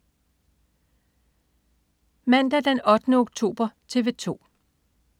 Mandag den 8. oktober - TV 2: